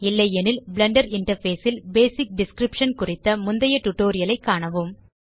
இல்லையெனில் Blender interface ல் basic description குறித்த முந்தைய டியூட்டோரியல் ஐ காணவும்